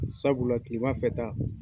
Sabula kilemafɛ ta